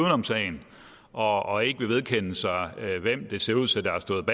om sagen og og ikke vil vedkende sig hvem der ser ud til